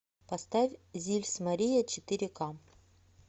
поставь зильс мария четыре ка